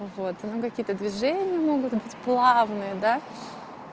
вот ну какие-то движения могут быть плавные да